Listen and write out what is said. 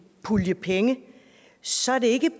pulje penge så er det ikke